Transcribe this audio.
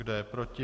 Kdo je proti?